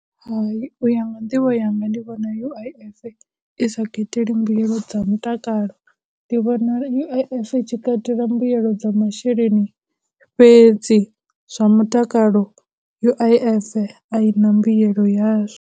Hai, u ya nga nḓivho yanga ndi vhona U_I_F i sa kateli mbuyelo dza mutakalo, ndi vhona U_I_F i tshi katela mbuyelo dza masheleni fhedzi, zwa mutakalo U_I_F a i na mbuyelo yazwo.